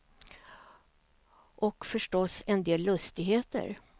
Och förstås, en del lustigheter.